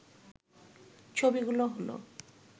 ছবিগুলো হলো